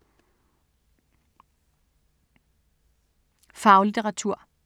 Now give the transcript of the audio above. Faglitteratur